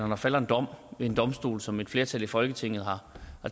der falder en dom ved en domstol som et flertal i folketinget har